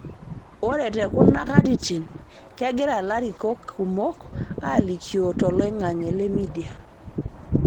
Ore te kuna katitin, kegira lalikiorok kumok alikioo toloing'ang'e le media